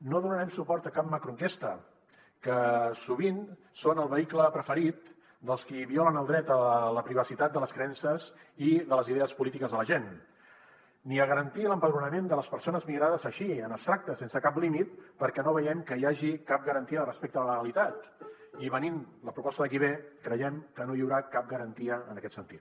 no donarem suport a cap macroenquesta que sovint són el vehicle preferit dels qui violen el dret a la privacitat de les creences i de les idees polítiques de la gent ni a garantir l’empadronament de les persones migrades així en abstracte sense cap límit perquè no veiem que hi hagi cap garantia de respecte de la legalitat i venint la proposta de qui ve creiem que no hi haurà cap garantia en aquest sentit